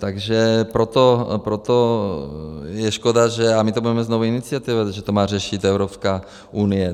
Takže proto je škoda, že, a my to budeme znovu iniciovat, že to má řešit Evropská unie.